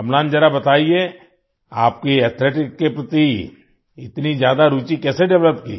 अम्लान जरा बताइये आपकी एथलेटिक्स के प्रति इतनी ज्यादा रूचि कैसे डेवलप की